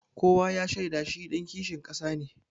Kowa ya shaida shi ɗan kishin ƙasa ne.